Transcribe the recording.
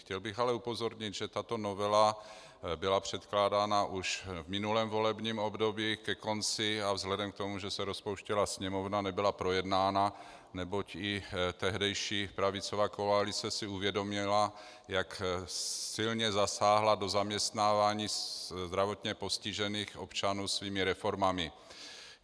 Chtěl bych ale upozornit, že tato novela byla předkládána už v minulém volebním období ke konci a vzhledem k tomu, že se rozpouštěla Sněmovna, nebyla projednána, neboť i tehdejší pravicová koalice si uvědomila, jak silně zasáhla do zaměstnávání zdravotně postižených občanů svými reformami.